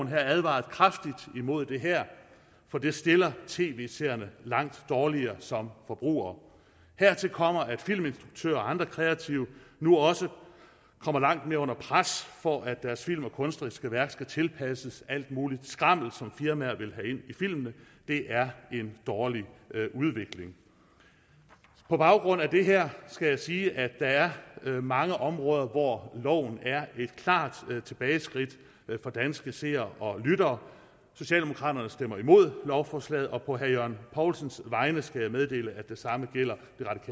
her advaret kraftigt imod det her for det stiller tv seerne langt dårligere som forbrugere hertil kommer at filminstruktører og andre kreative nu også kommer langt mere under pres for at deres film og kunstneriske værker skal tilpasses alt muligt skrammel som firmaer vil have ind i filmene det er en dårlig udvikling på baggrund af det her skal jeg sige at der er mange områder hvor loven er et klart tilbageskridt for danske seere og lyttere socialdemokraterne stemmer imod lovforslaget og på herre jørgen poulsens vegne skal jeg meddele at det samme gælder